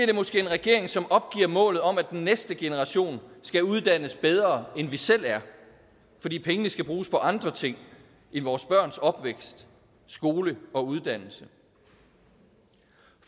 det måske en regering som opgiver målet om at den næste generation skal uddannes bedre end vi selv er fordi pengene skal bruges på andre ting end vores børns opvækst skole og uddannelse